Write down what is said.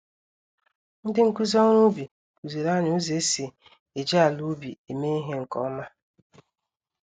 Ndị nkụzi ọrụ ubi kuziri anyị ụzọ esi eji àlà-ubi eme ìhè nke ọma.